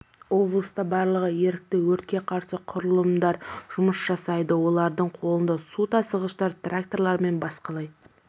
облыста барлығы ерікті өртке қарсы құрылымдар жұмыс жасайды олардың қолында су тасығыштар тракторлар мен басқалай